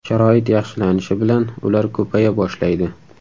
Sharoit yaxshilanishi bilan ular ko‘paya boshlaydi.